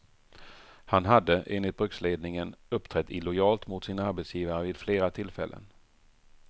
Han hade, enligt bruksledningen, uppträtt illojalt mot sin arbetsgivare vid flera tillfällen.